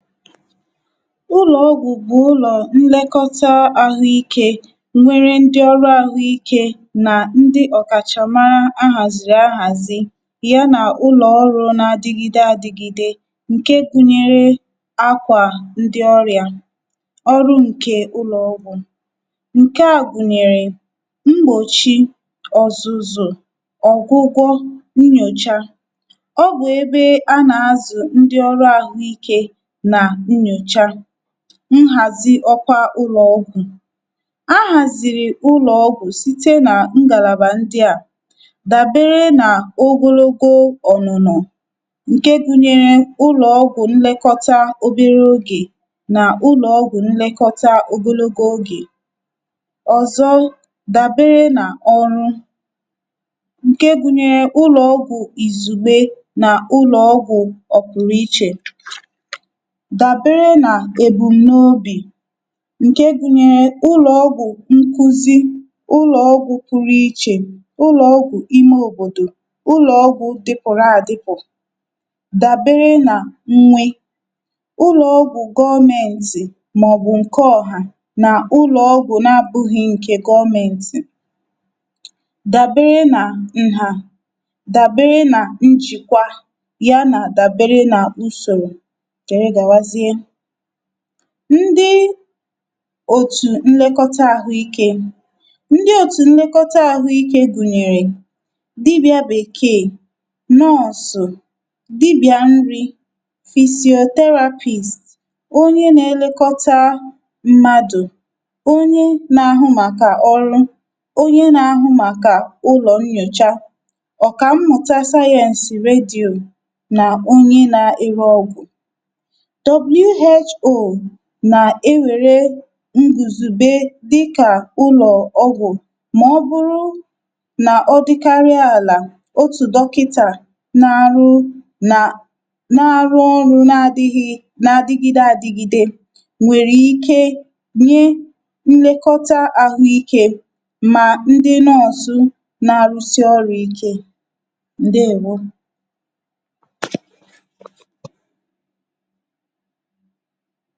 Ụlọ̀ọgwụ̀ bụ̀ ụlọ̀ nlekọta àhụikė nwere ndị ọrụ àhụikė nà ndị ọ̀kàchàmara ahàzìrì ahàzi yà nà ụlọ̀ọrụ̇ na-adịgide adịgide ǹke gbunyere akwà ndị ọrịà. Ọrụ ǹkè ụlọ̀ọgwụ̀; nke à gbùnyèrè mgbòchi, ọ̀zụzọ̀, ọ̀gwụgwọ, nnyòcha. Ọbụ̀ ebe a nà-azụ̀ ndị ọrụ àhụikė na nnyocha. Nhàzi ọkwa ụlọ̀ọgwụ̀: ahàzìrì ụlọ̀ọgwụ̀ site nà ngàlàbà ndị à; dàbere nà ogologo ọ̀nụ̀nọ̀ ǹke gụ̇nyere ụlọ̀ọgwụ̀ nlėkọta obere ogè nà ụlọ̀ọgwụ̀ nlekọta ogologo ogè. Ọzọ dàbere nà ọrụ; ǹke gụ̇nyere ụlọ̀ọgwụ̀ ìzùgbe nà ụlọ̀ọgwụ̀ ọ̀kwụ̀rụ̀ ichè. Dàbere nà ebu̇m n’obì; ǹke gụnyere ụlọ̀ọgwụ̀ nkuzi, ụlọ̀ọgwụ̀ kwụrụ ichè, ụlọ̀ọgwụ̀ ime òbòdò, ụlọ̀ọgwụ̀ dịpụ̀rụ àdịpụ̀. Dàbere nà nwe; ụlọ̀ọgwụ̀ gọmentì mà ọ̀bụ̀ ǹke ọ̀hà, na-ụlọ̀ọgwụ̀ n’abụ̇ghị̇ ǹkè gọmentì. Dàbere nà nhà, dàbere nà njìkwà ya nà dàbere nà usòrò, jere gawazii. Ndị òtù nlekọta àhụikė; ndị òtù nlekọta àhụikė gùnyèrè dibị̀a bèkeè, Nọọ̀sụ̀, dibị̀a nri, fisiòo therapist[CS,] onye na-elekọta mmadụ̀, onye na-ahụ màkà ọrụ, onye na-ahụ màkà ụlọ̀ nnyòcha, ọ̀kà mmụ̀ta sayeǹsị̀ redio nà onye na-ere ọgwụ̀. WHO nà-ewere ǹgùzùbe dịkà ụlọ̀ ọgwụ̀ mà ọ̀bụ̀rụ nà ọ dịkarià àlà otù Dọkịtà n’arụ nà n’arụ orụ nà adị̇ghị̇ nà adị̇gide adị̇gide nwèrè ike nye nlekọta àhụikė mà ndị Nọọ̀sụ̀ nà-arụsị orụ̀ ike, ǹdeèwo.